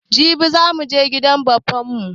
Jibi za muje gidan baffan mu